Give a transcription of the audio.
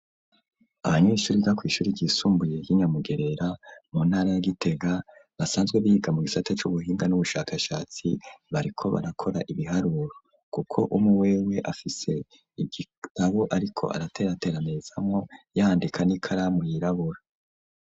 Abanyeshuri biga kwishuri ryisumbuye y'inyamugerera mu ntara ya Gitega basanzwe biga mu gisata c'ubuhinga n'ubushakashatsi bariko barakora ibiharuro kuko umu wewe afise igitabo ariko araterateranezamo yandika n'ikara mu yirabura.